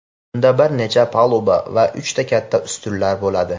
unda bir necha paluba va uchta katta ustunlar bo‘ladi.